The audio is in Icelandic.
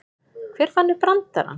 Hver fann upp brandarann?